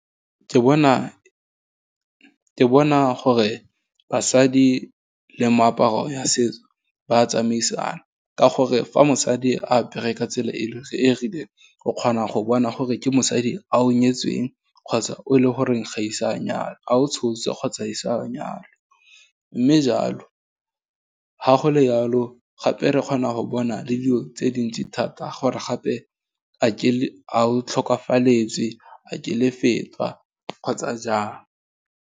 Ke bona gore basadi le meaparo ya setso, ba tsamaisana, ka gore, fa mosadi apere ka tsela e rileng o kgona go bona gore ke mosadi a o nyetsweng, kgotsa o e le goreng ga isa manyalwe, a o tshotse kgotsa ise a nyalwe, mme jalo, ga go le jalo, gape re kgona go bona le dilo tse dintsi thata gore gape a o tlhokafaletswe, a ke le fetwa, kgotsa jaang.